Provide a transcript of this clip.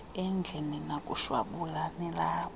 endlini nakushwabula nilapho